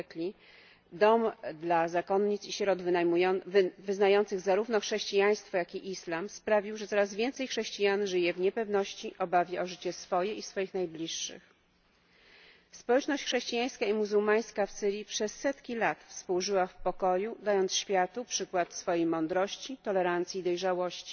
Tekli dom dla zakonnic i sierot wyznających zarówno chrześcijaństwo, jak i islam sprawiły, że coraz więcej chrześcijan żyje w niepewności, obawiając się o życie swoje i swoich najbliższych. Społeczność chrześcijańska i muzułmańska w Syrii przez setki lat współżyła w pokoju, dając światu przykład swojej mądrości, tolerancji i dojrzałości.